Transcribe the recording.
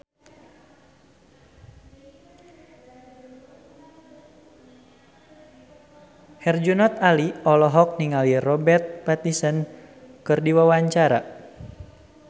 Herjunot Ali olohok ningali Robert Pattinson keur diwawancara